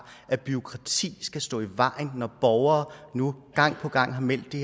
at bureaukrati skal stå i vejen når borgere nu gang på gang har meldt at det